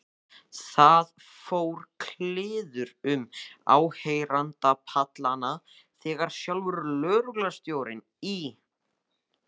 Það fór kliður um áheyrendapallana þegar sjálfur lögreglustjórinn í